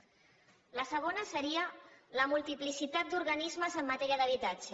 el segon seria la multiplicitat d’organismes en matèria d’habitatge